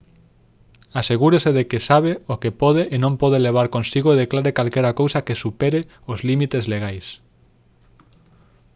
asegúrese de que sabe o que pode e non pode levar consigo e declare calquera cousa que supere os límites legais